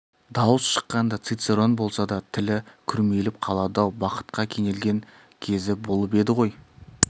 дауыс шыққанда цицерон болса да тілі күрмеліп қалады-ау бақытқа кенелген кезі болып еді ғой